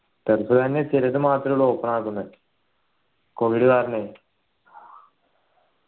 turf തന്നെ ചിലത് മാത്രേ ഉള്ളു open ആവുന്നേ covid കാരണെ